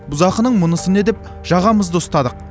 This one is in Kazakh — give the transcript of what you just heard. бұзақының мұнысы не деп жағамызды ұстадық